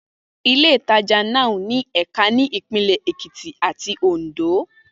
Ilé-ìtajà Nao ní ẹ̀ka ní Ìpínlẹ̀ Èkìtì àti Òǹdó